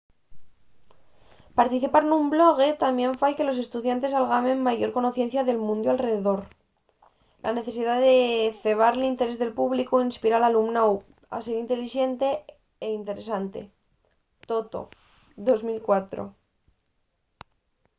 participar nun blog tamién fai que los estudiantes algamen mayor conocencia del mundiu alredor”. la necesidá de cebar l’interés del públicu inspira al alumnáu a ser intelixente y interesante toto 2004